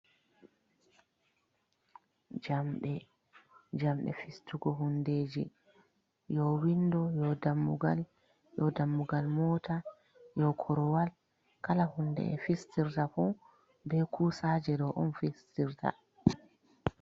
Jamɗe: Jamɗe fistugo hundeji yo windo, yo dammugal, yo dammugal mota, yo korowal. Kala hunde ɓe fistirta fu be kusaje on fistirta.